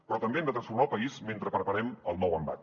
però també hem de transformar el país mentre preparem el nou embat